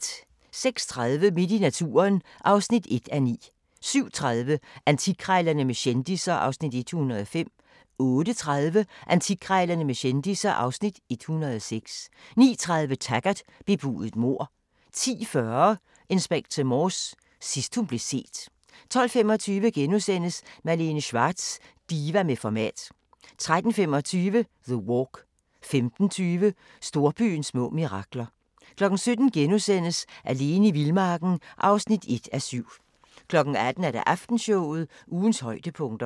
06:30: Midt i naturen (1:9) 07:30: Antikkrejlerne med kendisser (Afs. 105) 08:30: Antikkrejlerne med kendisser (Afs. 106) 09:30: Taggart: Bebudet mord 10:40: Inspector Morse: Sidst hun blev set 12:25: Malene Schwartz – diva med format * 13:25: The Walk 15:20: Storbyens små mirakler 17:00: Alene i vildmarken (1:7)* 18:00: Aftenshowet – ugens højdepunkter